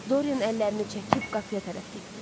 Dorian əllərini çəkib qapıya tərəf getdi.